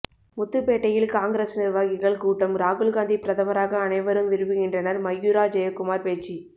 முத்துப்பேட்டையில் காங்கிரஸ் நிர்வாகிகள் கூட்டம் ராகுல்காந்தி பிரதமராக அனைவரும் விரும்புகின்றனர் மயூரா ஜெயக்குமார் பேச்சு